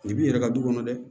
Nin b'i yɛrɛ ka du kɔnɔ dɛ